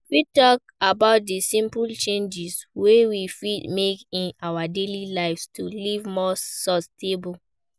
You fit talk about di simple changes wey we fit make in our daily lives to live more sustainable.